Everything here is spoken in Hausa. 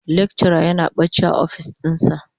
lecturer yana bacci a ofis dinsa.